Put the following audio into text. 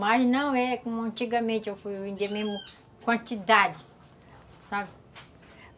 Mas não é como antigamente, eu vendia mesmo quantidade, sabe?